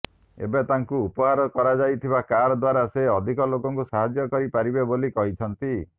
ଏବେ ତାଙ୍କୁ ଉପହାର କରାଯାଇଥିବା କାର୍ ଦ୍ୱାରା ସେ ଅଧିକ ଲୋକଙ୍କୁ ସାହାଯ୍ୟ କରି ପାରିବେ ବୋଲି କହିଛନ୍ତି